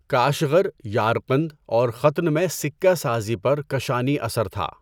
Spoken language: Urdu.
کاشغر، یارقند اور ختن میں سکہ سازی پر کشانی اثر تھا۔